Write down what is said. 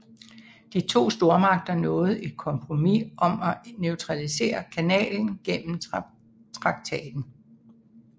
De to stormagter nåede et kompromis om at neutralisere kanalen gennem traktaten